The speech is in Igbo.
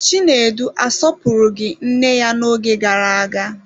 Chinedu asọpụrụghị nne ya n'oge gara aga.